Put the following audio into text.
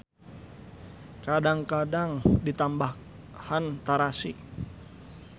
Kadang-kadang ditambahan tarasi.